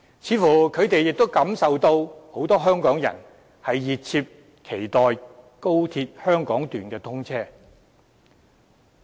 他們似乎亦感受到，很多香港人熱切期待高鐵香港段通車。